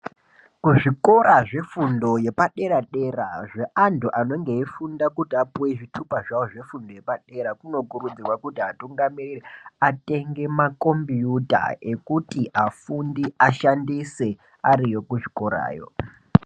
Ku zvikora zve fundo yepa dera dera zve antu anenge eyi funda kuti apuwe zvitupa zvavo zve fundo yepadera kuno kurudzirwa kuti vatungamiriri atenge makombiyuta ekuti afundi ashandise ariyo ku zvikorayo.